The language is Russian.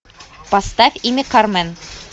поставь имя кармен